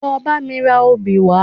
Lọ bá mi ra obì wá